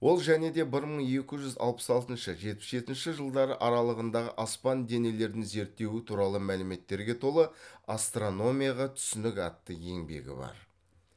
ол және де бір мың екі жүз алпыс алтыншы жетпіс жетінші жылдары аралығындағы аспан денелерін зерттеуі туралы мәліметтерге толы астрономияға түсінік атты еңбегі бар